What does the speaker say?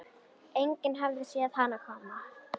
Enginn hafði séð hann koma.